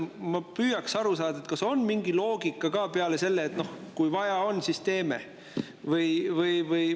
Ma püüaks aru saada, kas siin on mingi loogika ka peale selle, et kui vaja on, siis teeme.